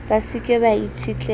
ba se ke ba itshetleha